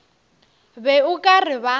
be o ka re ba